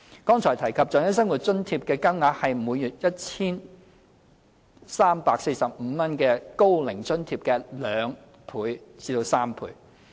剛才提及的長者生活津貼，其金額是每月 1,345 港元的高齡津貼的約兩至三倍。